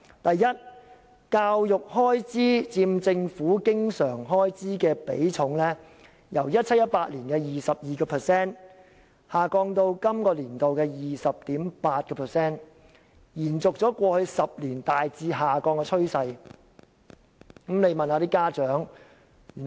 第一，教育開支佔政府經常開支的比重，由 2017-2018 年度的 22% 下降至本年度的 20.8%， 延續過去10年大致下降的趨勢。